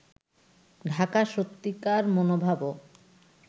ঢাকার সত্যিকার মনোভাবও